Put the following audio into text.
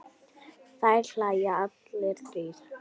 Þeir hlæja allir þrír.